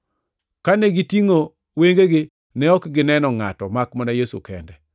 Kane gitingʼo wengegi, ne ok gineno ngʼato makmana Yesu kende.